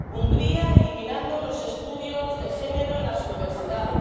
Hungría, eliminando los estudios de género en las universidades